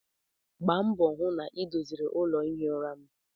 Gbaa mbọ hụ na ị doziri ụlọ ihi ụra m!